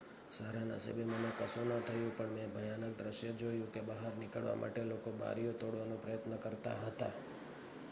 """સારા નસીબે મને કશું ન થયું પણ મેં ભયાનક દૃશ્ય જોયું કે બહાર નીકળવા માટે લોકો બારીઓ તોડવાનો પ્રયત્ન કરતા હતા.